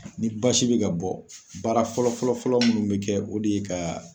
Ni basi bɛ ka bɔ baara fɔlɔ fɔlɔ fɔlɔ minnu bɛ kɛ o de ye ka